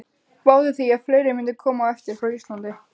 Spáði því að fleiri mundu koma á eftir frá Íslandi.